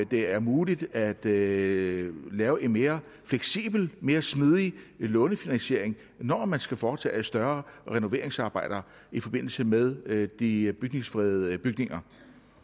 det er muligt at lave lave en mere fleksibel mere smidig lånefinansiering når man skal foretage større renoveringsarbejder i forbindelse med med de bygningsfredede bygninger